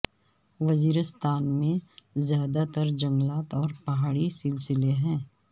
وزیرستان میں زیادہ تر جنگلات اور پہاڑی سلسلے ہیں